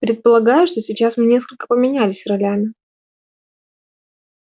предполагаю что сейчас мы несколько поменялись ролями